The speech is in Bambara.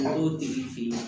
Dɔw tigi fe yen